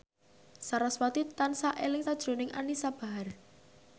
sarasvati tansah eling sakjroning Anisa Bahar